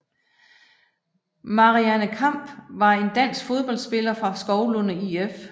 Marianne Kamph var en dansk fodboldspiller fra Skovlunde IF